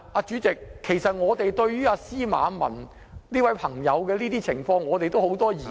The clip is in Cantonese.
主席，對於司馬文的情況，我們也有很多疑問......